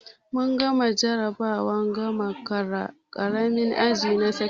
Mun gama jarabawar gama ƙaramin aji na sakandare